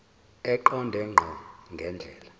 eqonde ngqo ngendlela